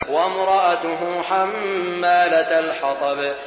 وَامْرَأَتُهُ حَمَّالَةَ الْحَطَبِ